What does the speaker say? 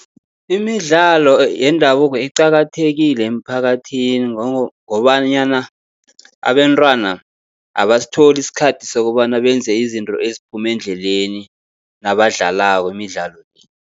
Imidlalo yendabuko iqakathekile emphakathini, ngobanyana abentwana abasitholi isikhathi sokobana benze izinto eziphume endleleni nabadlalako imidlalo le.